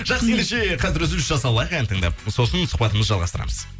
жақсы ендеше қазір үзіліс жасап алайық ән тыңдап сосын сұхбатымызды жалғастырамыз